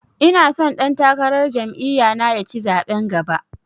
Ina so ɗan takarar jam'iya na ya ci zaɓen gaba